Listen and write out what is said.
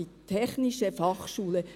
Das ist keine BFH.